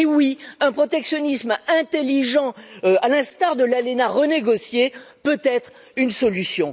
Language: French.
Oui, un protectionnisme intelligent, à l'instar de l'ALENA renégocié, peut être une solution.